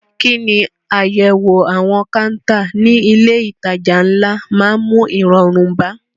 Kí ni àyẹ̀wò àwọn káńtà ní ilé ìtajà ńlá máa ń mú ìrọ̀rùn bá?